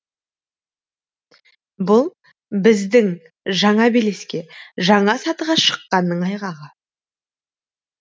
бұл біздің жаңа белеске жаңа сатыға шыққанның айғағы